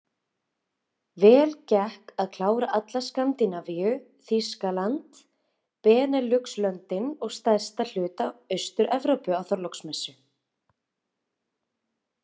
Vel gekk að klára alla Skandinavíu, Þýskaland, Beneluxlöndin og stærsta hluta AusturEvrópu á Þorláksmessu.